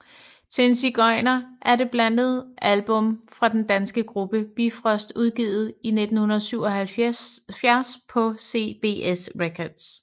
Til en sigøjner er det andet album fra den danske gruppe Bifrost udgivet i 1977 på CBS Records